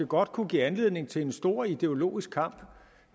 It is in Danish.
godt kunne give anledning til en stor ideologisk kamp